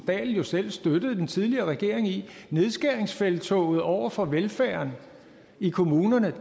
dahl jo selv støttede den tidligere regering i nedskæringsfelttoget over for velfærden i kommunerne